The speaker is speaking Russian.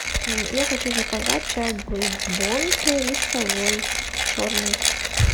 я хочу заказать чай брук бонд листовой черный